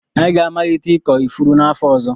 Anyị ga-amalite ịkọ ifuru n'afọ ọzọ.